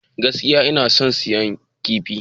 Gaskiya, ina son siyan kifi.